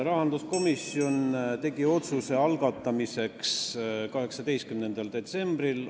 Rahanduskomisjon tegi otsuse eelnõu algatamise kohta 18. detsembril.